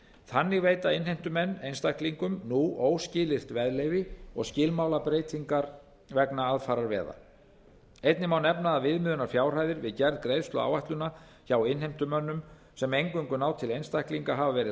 þannig veita innheimtumenn einstaklingum nú óskilyrt veðleyfi og skilmálabreytingar vegna aðfararveða einnig má nefna að viðmiðunarfjárhæðir við gerð greiðsluáætlana hjá innheimtumönnum sem eingöngu ná til einstaklinga hafa verið